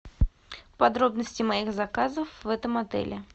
подробности моих заказов в этом отеле